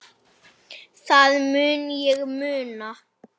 Það mun ég muna.